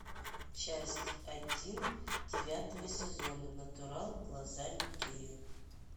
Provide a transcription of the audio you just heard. часть один девятого сезона натурал глазами гея